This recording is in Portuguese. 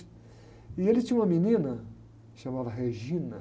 E ele tinha uma menina que se chamava.